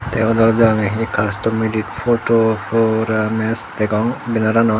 tey odora degongey hi kastor medit poto kora mast degong benaranot.